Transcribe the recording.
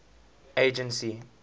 agency